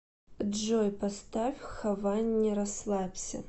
джой поставь хованни расслабься